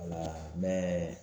Ola